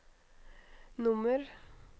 nummer